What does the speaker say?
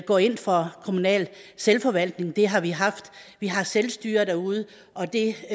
går ind for kommunal selvforvaltning det har vi haft vi har selvstyre derude og det